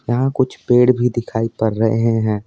यहाँ कुछ पेड़ भी दिखाई पड़ रहे हैं।